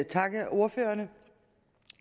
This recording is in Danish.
takke ordførerne